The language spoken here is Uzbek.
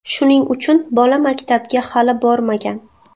Shuning uchun bola maktabga hali bormagan.